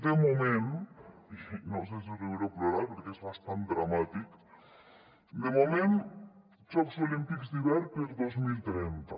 de moment no sé si riure o plorar perquè és bastant dramàtic jocs olímpics d’hivern per a dos mil trenta